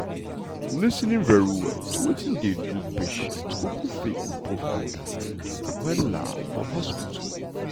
lis ten ing very well to wetin dey do patient um fit improve understanding um for hospital.